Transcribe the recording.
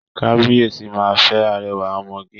Kabiyesi máa fẹ́ arẹwà ọmọge